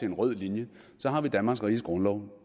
en rød linje har vi danmarks riges grundlov